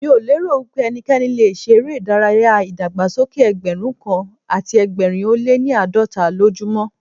Mi ò lérò wípé ẹnikẹ́ni le ṣe eré ìdárayá ìdàgbàsókè Ẹgbẹ̀rún kan àti ẹgbẹ̀rin ó lé ní àádọ́ta lójú mọ́.